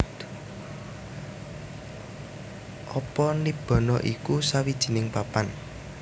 Apa Nibbana iku sawijining papan